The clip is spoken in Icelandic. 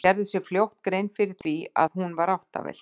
Hún gerði sér fljótt grein fyrir því að hún var áttavillt.